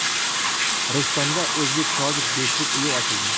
Rishtonda o‘zbek-tojik do‘stlik uyi ochildi.